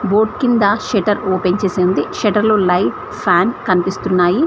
Board కింద shutter open చేసి ఉంది షటర్లో లైట్ ఫ్యాన్ కనిపిస్తున్నాయి.